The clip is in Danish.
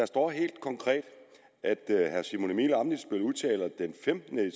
står helt konkret at herre simon emil ammitzbøll udtaler den femtende